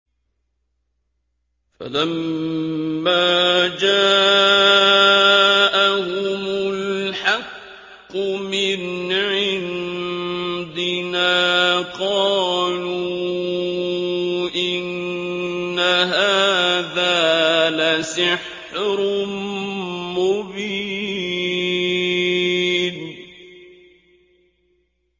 فَلَمَّا جَاءَهُمُ الْحَقُّ مِنْ عِندِنَا قَالُوا إِنَّ هَٰذَا لَسِحْرٌ مُّبِينٌ